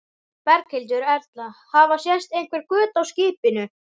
Berghildur Erla: Hafa sést einhver göt á skipinu?